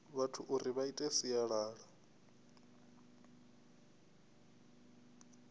vhathu uri vha ite sialala